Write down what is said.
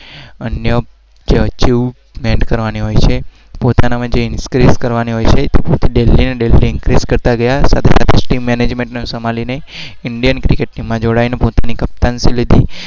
અન્ય